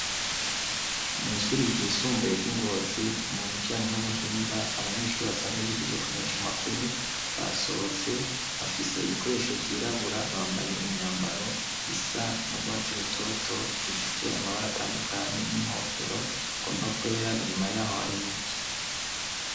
mw' ishuri ry'isumbuye ry'ingotzi mu bijanye n'ubuhinga abanyeshuri basanzwe bigi bye kumesha makuru basohotse bafise ibikoresho vy'irabura bambanye imyambaro isa n'ubwatsi rutoto ifise amabara atandukanye n'inkofero igomba kwera inyuma y'aho hari biti